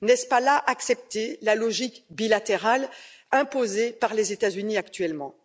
N'est ce pas là accepter la logique bilatérale imposée par les États Unis actuellement?